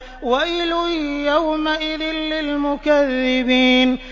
وَيْلٌ يَوْمَئِذٍ لِّلْمُكَذِّبِينَ